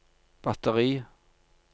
batteri